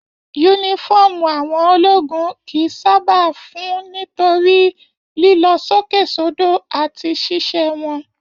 Yúnífọ̀ọ́mù àwọn ológun kìí sábà fún nítorí lilọ sókè sodo láti ṣiṣẹ wọn.